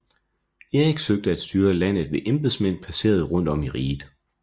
Erik søgte at styre landet ved embedsmænd placeret rundt om i riget